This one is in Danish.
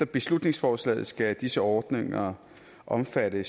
beslutningsforslaget skal disse ordninger omfatte